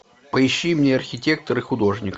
поищи мне архитектор и художник